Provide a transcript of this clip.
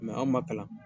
anw ma kalan